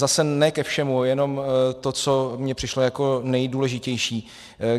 Zase ne ke všemu, jenom to, co mně přišlo jako nejdůležitější.